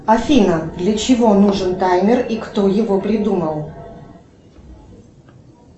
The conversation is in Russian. афина для чего нужен таймер и кто его придумал